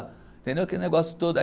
Aquele negócio todo aí.